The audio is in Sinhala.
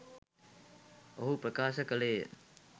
ඔහු ප්‍රකාශ කළේය